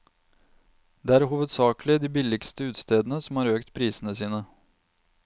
Det er hovedsakelig de billigste utestedene som har økt prisene sine.